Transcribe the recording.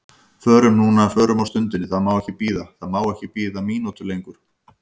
Förum núna, förum á stundinni, það má ekki bíða, það má ekki bíða mínútu lengur.